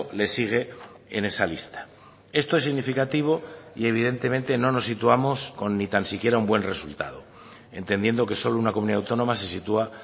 le sigue en esa lista esto es significativo y evidentemente no nos situamos con ni tan siquiera un buen resultado entendiendo que solo una comunidad autónoma se sitúa